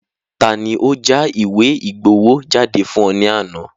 Taani ó já ìwé ìgbowó jáde fún ọ ní àná?